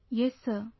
Yes Sir,